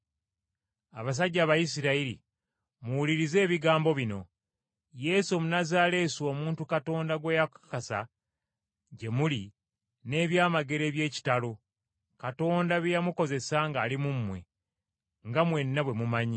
“Abasajja Abayisirayiri, muwulirize ebigambo bino! Yesu Omunnazaaleesi omuntu Katonda gwe yakakasa gye muli n’ebyamagero eby’ekitalo, Katonda bye yamukozesanga ng’ali mu mmwe, nga mwenna bwe mumanyi.